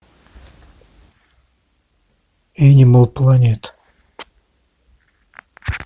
энимал планет